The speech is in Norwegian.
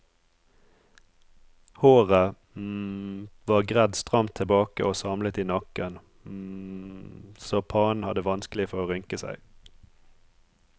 Håret var gredd stramt tilbake og samlet i nakken så pannen hadde vanskelig for å rynke seg.